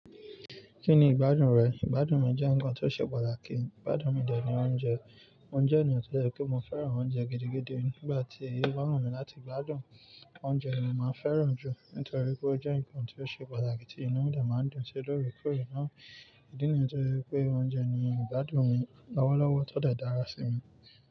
Kí ni ìgbádùn rẹ? Ìgbádùn mi jẹ́ ǹkan tó ṣe pàtàkì. Ìgbádùn mi dé ni oúnjẹ. Oúnjẹ ni òótọ́ lẹ́kọ̀ọ́ pé mo fẹ́ràn oúnjẹ gidi gidi. Nígbà tí èèyàn rán mi láti gbádùn oúnjẹ ni màá fẹ́ràn ju nítorí pé ó jẹ́ ǹkan tó ṣe pàtàkì tí inú mi dà máa ń dún ṣe lóòrèkóòrè náà. Ìdí nìyẹn tó jẹ́ pé oúnjẹ ni ìgbádùn mi. Lọ́wọ́lọ́wọ́ tọ́ dẹ̀ dára sí mi.